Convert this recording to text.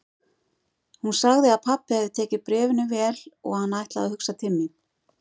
Hún sagði að pabbi hefði tekið bréfinu vel og hann ætlaði að hugsa til mín.